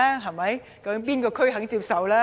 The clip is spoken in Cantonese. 究竟哪一區肯接受？